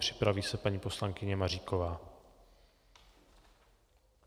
Připraví se paní poslankyně Maříková.